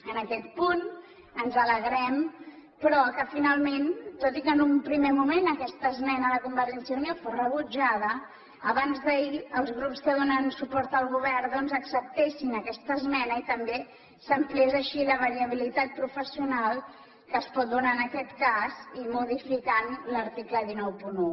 en aquest punt ens alegrem però que finalment tot i que en un primer moment aquesta esmena de convergència i unió fos rebutjada abansd’ahir els grups que donen suport al govern doncs acceptessin aquesta esmena i també s’ampliés així la variabilitat professional que es pot donar en aquest cas i modificant l’article cent i noranta un